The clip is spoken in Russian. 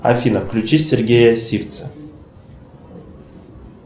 афина включи сергея сивца